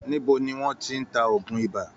Níbo niwọ́n ti ń ta òògun iba?